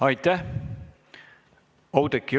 Aitäh!